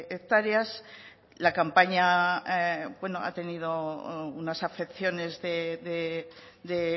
hectáreas la campaña ha tenido unas afecciones de